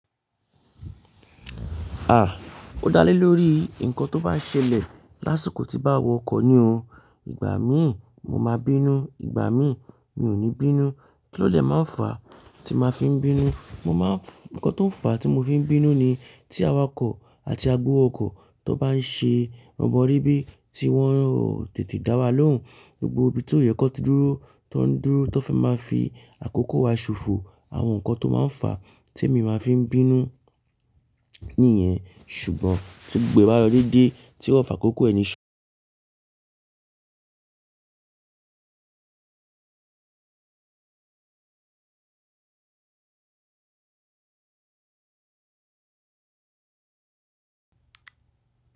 À, ó dá lé lórí nǹkan tó bá ṣẹlẹ̀ lásìkò tí bá wọ ọkọ̀ ni o. Ìgbà míì mo máa bínú, ìgbà míì mi ò ní bínú. Kí ló dè máa ń fà tí máa fi ń bínú? Mo máa ń-- nǹkan tó ń fà tí mo fi ń bínú ni tí awakọ̀ àti agbowó okọ̀ tan bá ń ṣe rọbọrebe tí wọ́n ò tètè dá wa lóhùn. Gbogbo ibi tió yẹ kan ti dúró tań n dúró, tan fẹ́ máa fi àkókò wa ṣòfò. Àwọn nǹkan tó máa ń fà tí èmi máa fi ń bínú nìyẹn. Ṣùgbọ́n tí gbogbo e ba lo dedé tí ó fà kókó ẹni ṣe.